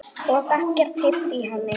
Og ekkert heyrt í henni?